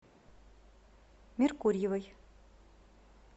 меркурьевой